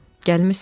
Gəlmisən?